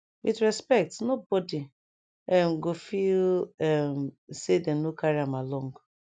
with respect no bodi um go feel um say dem no carry am along